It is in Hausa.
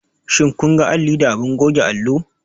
Shin kun ga alli da abin goge allo?